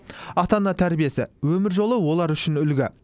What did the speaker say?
ата ана тәрбиесі өмір жолы олар үшін үлгі